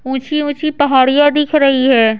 ऊंची ऊंची पहाड़ियां दिख रही है।